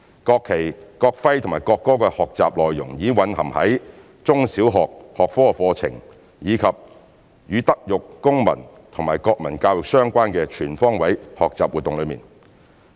國旗、國徽和國歌的學習內容已蘊含於中小學學科課程，以及與德育、公民及國民教育相關的全方位學習活動內。